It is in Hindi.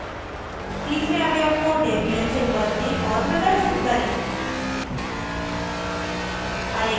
* तीसरे अवयव को debian से बदलें और प्रदर्शित करें